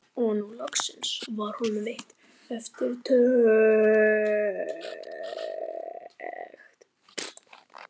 Og nú loksins var honum veitt eftirtekt.